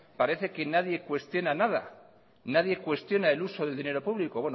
parece que nadie cuestiona nada nadie cuestiona el uso del dinero público